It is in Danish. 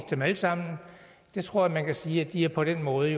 dem alle sammen jeg tror man kan sige at de på den måde